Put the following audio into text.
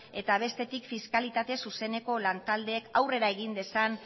eta bestetik fiskalitate zuzeneko lan taldeek aurrera egin dezan